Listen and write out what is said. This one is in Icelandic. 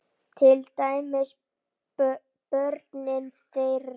Til dæmis börnin þeirra.